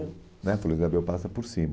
né A Floresta de Abreu passa por cima.